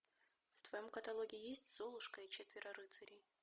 в твоем каталоге есть золушка и четверо рыцарей